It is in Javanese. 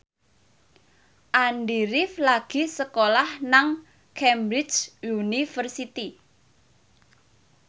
Andy rif lagi sekolah nang Cambridge University